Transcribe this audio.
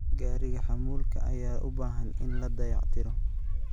Gariiga Xamuulka ayaa u baahan in la dayactiro.